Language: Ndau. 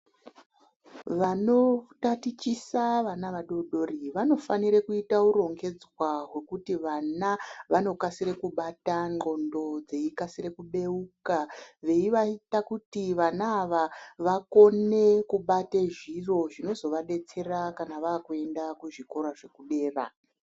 Vanotatichisa vana vadoodori vanofanira kuita urongedzwa hwekuti vana vanokasira kubata nxondo dzeikasira kubeuka veivaita kuti vana ava vakone kubate zviro zvinozovadetsera kana vakuenda kuzvikora zvekudera .